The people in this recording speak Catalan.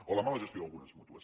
o la mala gestió d’algunes mútues